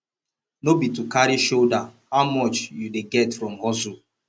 no be to carry shoulder how much you dey get from hustle